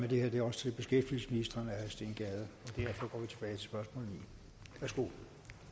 herre steen gade at